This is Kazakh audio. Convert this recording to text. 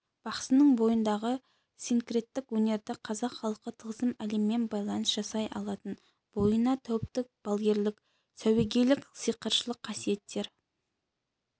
бақсының бойындағы синкреттік өнерді қазақ халқы тылсым әлеммен байланыс жасай алатын бойына тәуіптік балгерлік сәуегейлік сиқыршылық қасиеттер